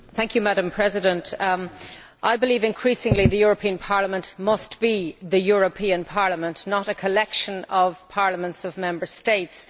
Madam President, I believe that increasingly the European Parliament must be the European Parliament, not a collection of parliaments of Member States.